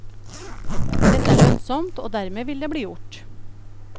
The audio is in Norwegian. Dette er lønnsomt, og dermed vil det bli gjort.